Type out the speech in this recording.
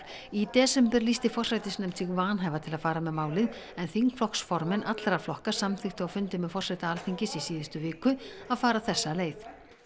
í desember lýsti forsætisnefnd sig vanhæfa til að fara með málið en þingflokksformenn allra flokka samþykktu á fundi með forseta Alþingis í síðustu viku að fara þessa leið